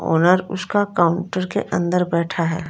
Owner उसका counter के अंदर बैठा है।